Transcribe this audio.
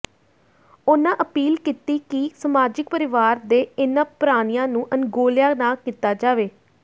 ਉਨ੍ਹਾਂ ਅਪੀਲ ਕੀਤੀ ਕਿ ਸਮਾਜਿਕ ਪਰਿਵਾਰ ਦੇ ਇਨ੍ਹਾਂ ਪ੍ਰਾਣੀਆਂ ਨੂੰ ਅਣਗੌਲਿਆ ਨਾ ਕੀਤਾ ਜਾਵੇ